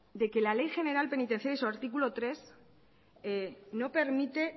de que la ley general penitenciaria en su artículo tres no permite